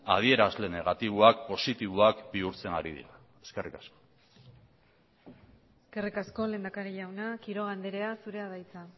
adierazle negatiboak positiboak bihurtzen ari dira eskerrik asko eskerrik asko lehendakari jauna quiroga andrea zurea da hitza